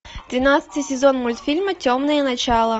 тринадцатый сезон мультфильма темные начала